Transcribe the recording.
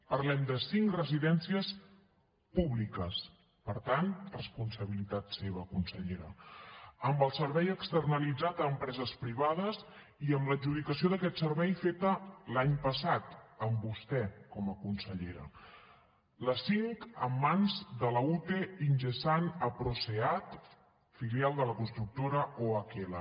parlem de cinc residències públiques per tant responsabilitat seva consellera amb el servei externalitzat a empreses privades i amb l’adjudicació d’aquest servei feta l’any passat amb vostè com a consellera les cinc en mans de la ute ingesan asproseat filial de la constructora ohl